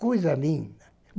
Coisa linda!